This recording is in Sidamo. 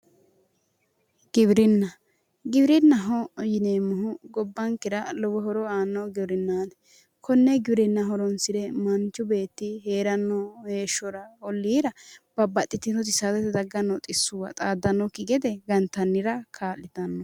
Giwirinna, giwirinnaho yinneemmohu gobbankera lowo horo aanno giwirinnaati konne giwirinna horonsire manchu beetti heeranno heeshshora olliira saadate daggano xisuwa taraabbanokki gede gargartanno gede kaa'littano.